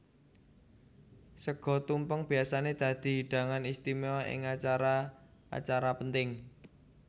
Sega tumpeng biyasané dadi hidangan istiméwa ing acara acara penting